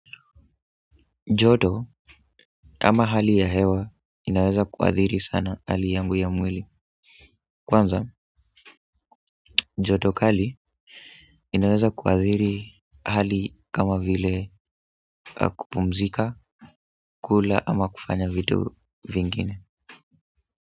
Joto ama hali ya hewa inaweza kuadhiri sana hali yangu ya mwili. Kwanza, joto kali inaweza kuadhiri hali kama vile kupumzika, kula ama kufanya vitu vingine.